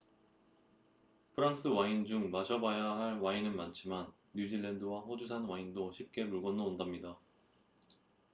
프랑스 와인 중 마셔봐야 할 와인은 많지만 뉴질랜드와 호주산 와인도 쉽게 물 건너 온답니다